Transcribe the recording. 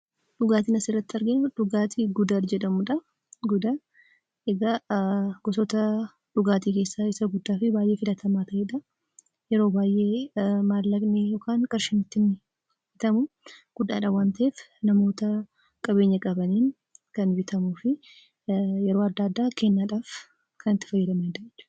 Dhugaatiin asirratti arginu dhugaatii Gudar jedhamudha. Gosoota dhugaatii keessaa isa guddaa fi baay'ee filatamaa yoo ta'u, yeroo baay'ee maallaqni yookiin qarshiin ittiin bitamu guddaadha waan ta'eef namoota qabeenya qabaniin kan bitamuu fi yeroo adda addaa kennaadhaaf kan itti fayyadamnudha.